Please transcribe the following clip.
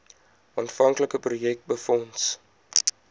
aanvanklike projek befonds